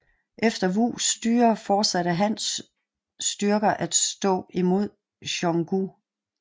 Efter Wus styre fortsatte Hans styrker at stå imod Xiongnu